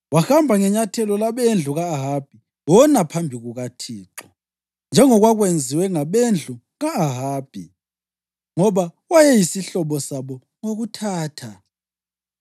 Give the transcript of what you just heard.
Wahamba ngenyathelo labendlu ka-Ahabi wona phambi kukaThixo, njengokwakwenziwe ngabendlu ka-Ahabi, ngoba wayeyisihlobo sabo ngokuthatha.